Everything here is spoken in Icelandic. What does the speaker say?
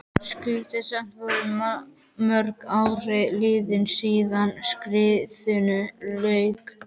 Skrýtið, og samt voru mörg ár liðin síðan stríðinu lauk.